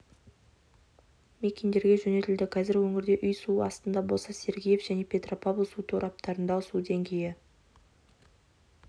мекендерге жөнелтілді қазір өңірде үй су астында болса сергеев және петропавл су тораптарындағы су деңгейі